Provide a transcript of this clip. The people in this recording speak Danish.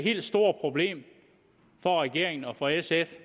helt store problem for regeringen og for sf